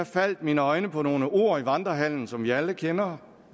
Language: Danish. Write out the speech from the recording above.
faldt mine øjne på nogle ord i vandrehallen som vi alle kender